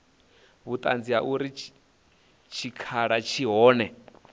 vhuṱanzi ha uri tshikhala tshi hone